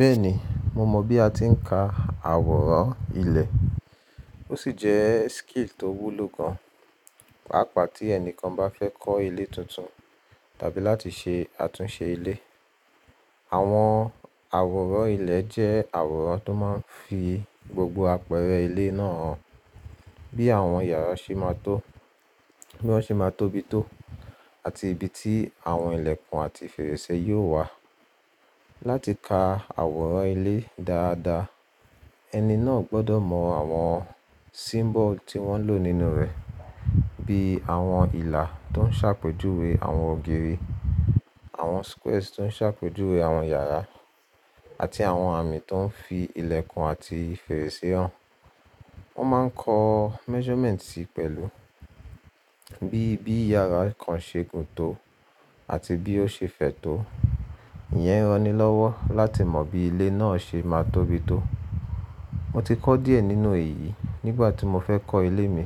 Bẹ́ẹ̀ni, mo mọ bí a ti ń ka àwòrán ilé, ó sì jẹ́ skill tó wúlò gan, pàápàá tí ẹni kan bá fẹ́ kọ́ ilé tuntun tàbí láti ṣe àtúnṣe ilé. Àwọn àwòrán ilé jẹ́ àwòrán tó máa ń fi gbogbo àpẹẹrẹ ilé náà hàn. Bí àwọn yàrá ṣe máa tó, bí wọ́n ṣe máa tóbi tó, àti ibi tí àwọn ìlẹ̀kùn àti fèrèsé yóò wà. Láti ka àwòrán ilé dáadáa, ẹni náà gbọdọ̀ mọ àwọn symbol tí wọ́n ń lò nínú rẹ̀, bí i àwọn ìlà tó ń ṣàpèjúwe àwọn ògiri, àwọn squares tó ń ṣàpèjúwe àwọn yàrá, àti àwọn àmì tó ń fi ilẹ̀kùn àti fèrèsé hàn. Wọ́n máa ń kọ measurement sí i pẹ̀lú, bí i bí yàrá kan ṣe gùn tó àti bí ó ṣe fẹ̀ tó. Ìyẹn ranilọ́wọ́ láti mọ bí ilé náà ṣe máa tóbi tó. Mo ti kọ́ díẹ̀ nínú èyí nígbà tí mo fẹ́ kọ́ ilé mi